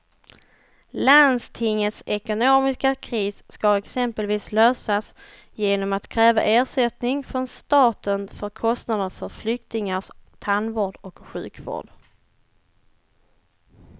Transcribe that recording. Landstingets ekonomiska kris ska exempelvis lösas genom att kräva ersättning från staten för kostnader för flyktingars tandvård och sjukvård.